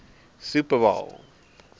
super bowl